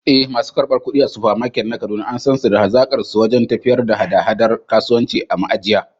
Eh, masu karɓar kuɗi a Supermart na Kaduna an san su da hazaƙarsu wajen tafiyar da haɗa-haɗar kasuwanci a ma’ajiya.